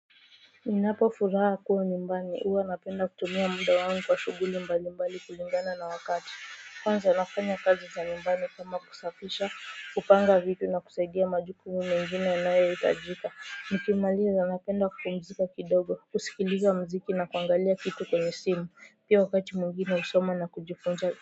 Ninapo furaha kuwa nyumbani huwa napenda kutumia muda wangu kwa shughuli mbali mbali kulingana na wakati kwanza nafanya kazi za nyumbani kama kusafisha kupanga vitu na kusaidia majukumu mengine yanayohitajika nikimaliza napenda kupumzika kidogo kusikiliza muziki na kuangalia kitu kwenye simu pia wakati mwingine husoma na kujifunza.